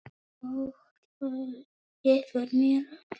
Og þú gefur mér ljóð.